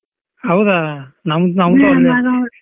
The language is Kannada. ಹೌದಾ ನಮ್ಡ್ ನಮ್ದು .